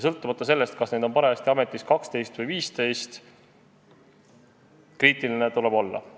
Sõltumata sellest, kas neid on parajasti ametis 12 või 15, kriitiline tuleb olla.